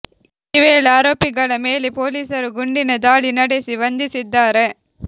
ಈ ವೇಳೆ ಆರೋಪಿಗಳ ಮೆಲೆ ಪೊಲೀಸರು ಗುಂಡಿನ ದಾಳಿ ನಡೆಸಿ ಬಂಧಿಸಿದ್ದಾರೆ